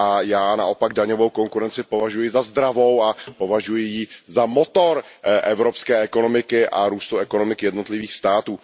Já naopak daňovou konkurenci považuji za zdravou a považuju ji za motor evropské ekonomiky a růstu ekonomik jednotlivých států.